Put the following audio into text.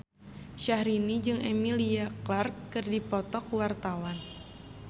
Syahrini jeung Emilia Clarke keur dipoto ku wartawan